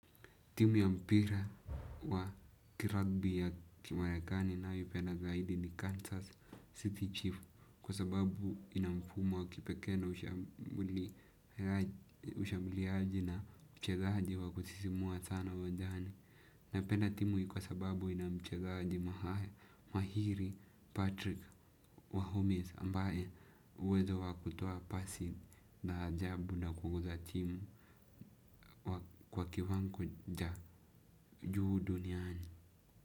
Timu ya mpira wa kiragbi ya kimarekani nanayoipenda zaidi ni Kansas City Chief. Kwa sababu ina mfumo wa kipekee na ushambuliaji na uchezaji wa kusisimua sana uwanjani. Napenda timu hii kwa sababu ina mchezaji mahari, Patrick wa Holmes ambaye uwezo wa kutoa pasi la ajabu na kuuza timu. Kwa kiwanja juu duniani.